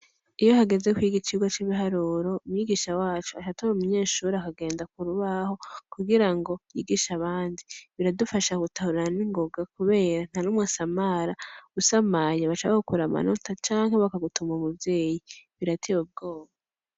Iyo hageze kwiga icigwa c'ibiharuro, mwigisha wacu aca atora umunyeshure akagenda k'urubaho, kugira ngo yigishe abandi. Biradufasha gutahura ningoga kubera, ntanumwe asamara. Usamaye baca bagukura amanota canke bakagutuma umuvyeyi. Birateye ubwoba!